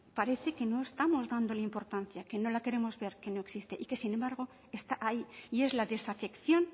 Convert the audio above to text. parece que no estamos dándole importancia que no la queremos ver que no existe y que sin embargo está ahí y es la desafección